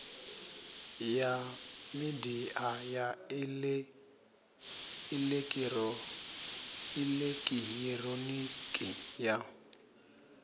ya midia ya elekihironiki ya